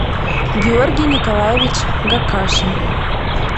георгий николаевич гакашин